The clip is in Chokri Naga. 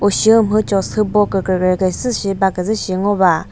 ushi umhü cho sübo kükrekre küzü shi baküzü shi ngo va.